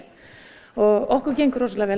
og okkur gengur rosalega vel